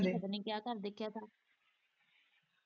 ਪਤਾ ਨੀ ਕਿਆ ਘਰ ਦੇਖਿਆ ਸਾਂ।